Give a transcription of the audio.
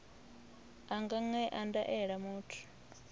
a nga ṅea ndaela muthu